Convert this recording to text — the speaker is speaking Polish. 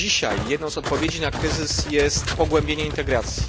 Dzisiaj jedną z odpowiedzi na kryzys jest pogłębienie integracji.